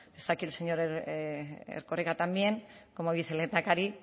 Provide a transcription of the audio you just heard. está aquí el señor erkoreka también como vicelehendakari